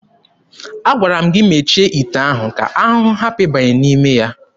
Agwara m gị mechie ite ahụ ka ahụhụ hapụ ịbanye n'ime ya!